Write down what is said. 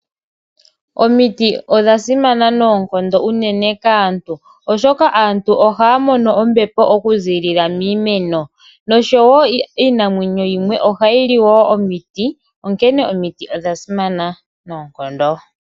Omiti odha simana noonkondo unene kaantu, oshoka aantu ohaya mono ombepo okuzilila miimeno, noshowo iinamwenyo yimwe ohayi li wo omiti, onkene omiti odha simana noonkondo.